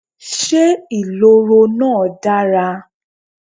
Ṣé ìloro náà dára?